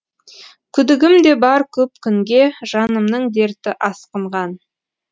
күдігім де бар көп күнге жанымның дерті асқынған